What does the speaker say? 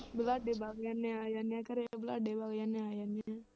ਵਲਾਡੇ ਵਗ ਜਾਂਦੇ ਹਾਂ ਆ ਜਾਂਦੇ ਆਂ ਘਰੇ, ਵਲਾਡੇ ਵਗ ਜਾਂਦੇ ਹਾਂ ਆ ਜਾਂਦੇ ਹਾਂ।